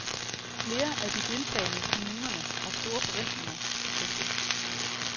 Flere af de deltagende kommunerne har store forventninger til projektet.